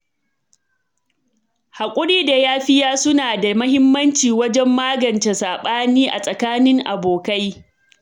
Hakuri da yafiya suna da muhimmanci wajen magance sabani a tsakanin abokai.